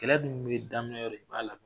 Kɛlɛ dun bɛ daminɛyɔrɔ i b'a laban